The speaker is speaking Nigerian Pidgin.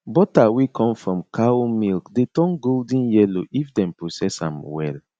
butter wey come from cow milk dey turn golden yellow if dem process am well